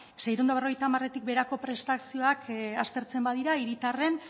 seiehun eta berrogeita hamartik beherako prestazioak aztertzen badira hiritarren